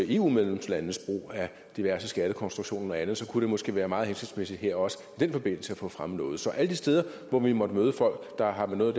eu medlemslandenes brug af diverse skattekonstruktioner og andet og så kunne det måske være meget hensigtsmæssigt også i den forbindelse at få fremmet noget så alle de steder hvor vi måtte møde folk der har noget